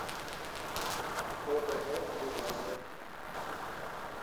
ооо евразия